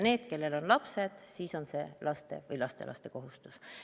Neil, kellel on lapsed, on see laste või lastelaste kohustus.